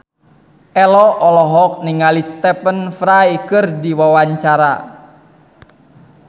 Ello olohok ningali Stephen Fry keur diwawancara